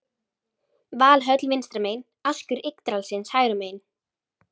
Valhöll vinstra megin, askur Yggdrasils hægra megin.